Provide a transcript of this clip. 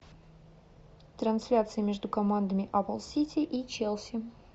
трансляция между командами апл сити и челси